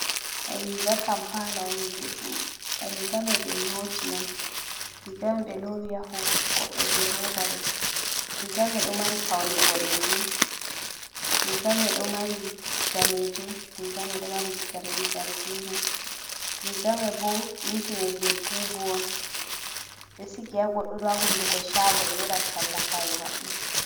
Riiga kampala on juɗɗum, riiga may ɓe nyooti on, riiga may ɓe loowi haa goɗɗo jey rooba ɗo. Riiga may ɗo mari pawne boɗeejum, riiga may ɗo mari daneejum, riiga may ɗo mari zargiina, riiga may bo ɗinki may jey bubu'on. Ɓe ɗo sigi haa goɗɗo, haa hunduko caago ɓe ɗo waɗa talla kare maɓɓe.